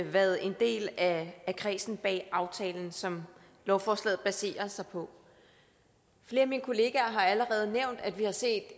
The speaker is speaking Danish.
været en del af kredsen bag aftalen som lovforslaget baserer sig på flere af mine kollegaer har allerede nævnt at vi har set